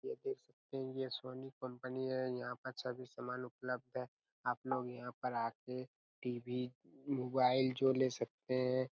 आप देख सकते है ये सोनी कंपनी है यहाँ पर सभी समान उपलब्ध है आपलोग यहाँ पर आके टी_वी मोबाइल जो ले सकते है।